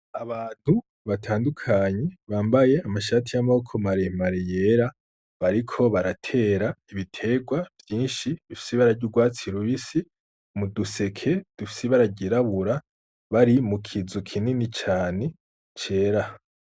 Abantu batandukanye bambaye amashati y'amaboko mare mare yera, bariko baratera ibiterwa vyinshi bifise ibara vy'urwatsi rubisi mu duseke dufis'ibara ryirabura, bari mu kizu kini cane cera.